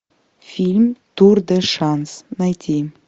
фильм тур де шанс найти